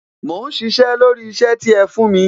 Mò ń sisẹ́ lórí isẹ ti ẹ fún mi